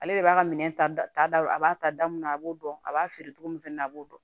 Ale de b'a ka minɛn ta da a b'a ta da mun na a b'o dɔn a b'a feere cogo min fɛnɛ na a b'o dɔn